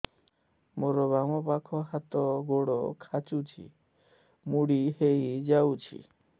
ମୋର ବାମ ପାଖ ହାତ ଗୋଡ ଖାଁଚୁଛି ମୁଡି ହେଇ ଯାଉଛି